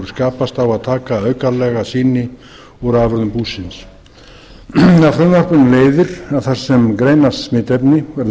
skapast á að taka aukalega sýni úr afurðum búsins af frumvarpinu leiðir að þar sem greinast smitefni verður